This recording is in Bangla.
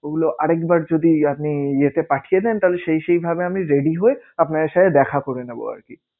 ও গুলো আর একবার যদি আপনি ইয়েতে পাঠিয়ে দেন তাহলে সেই সেই ভাবে আমি ready হয়ে আপনাদের সাথে দেখা করে নেবো আরকি।